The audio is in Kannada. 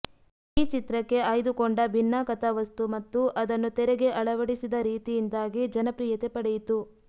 ಈ ಚಿತ್ರಕ್ಕೆ ಆಯ್ದುಕೊಂಡ ಭಿನ್ನ ಕಥಾವಸ್ತು ಮತ್ತು ಅದನ್ನು ತೆರೆಗೆ ಅಳವಡಿಸಿದ ರೀತಿಯಿಂದಾಗಿ ಜನಪ್ರಿಯತೆ ಪಡೆಯಿತು